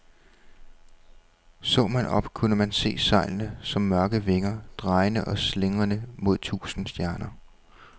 Så man op, kunne man se sejlene som mørke vinger, drejende og slingrende mod tusinde stjerner.